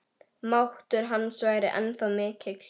Máttur hans væri ennþá mikill.